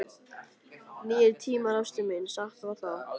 Nýir tímar, ástin mín, satt var það.